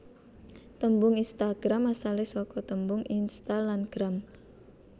Tembung Instagram asale saka tembung Insta lan Gram